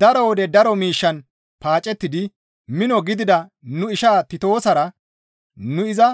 Daro wode daro miishshan paacettidi mino gidida nu ishaa Titoosara nu iza